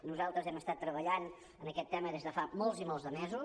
nosaltres hem estat treballant en aquest tema des de fa molts i molts de mesos